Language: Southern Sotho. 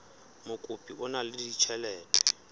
mokopi o na le ditjhelete